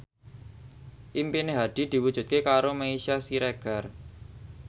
impine Hadi diwujudke karo Meisya Siregar